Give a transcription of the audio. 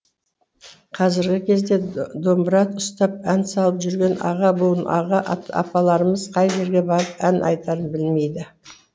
қазіргі кезде домбыра ұстап ән салып жүрген аға буын аға апаларымыз қай жерге барып ән айтарын білмейді